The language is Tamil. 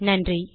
நன்றி